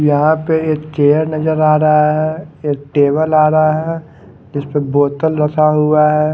यहां पे एक चेयर नजर आ रहा है एक टेबल आ रहा है जिस पे बोतल रखा हुआ है।